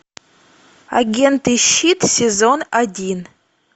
агенты щит сезон один